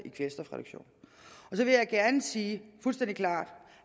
så vil jeg gerne sige fuldstændig klart